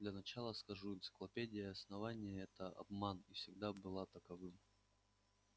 для начала скажу энциклопедия основания это обман и всегда была таковым